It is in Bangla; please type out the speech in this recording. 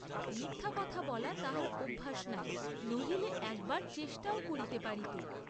মিথ্যা কথা বলা তাহার অভ্যাস নাই, নহিলে একবার চেষ্টাও করিতে পারিত।